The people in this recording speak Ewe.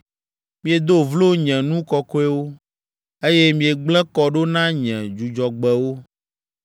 Miedo vlo nye nu kɔkɔewo, eye miegblẽ kɔ ɖo na nye Dzudzɔgbewo.